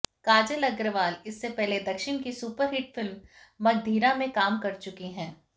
काजल अग्रवाल इससे पहले दक्षिण की सुपरहिट फिल्म मगधीरा में काम कर चुकी है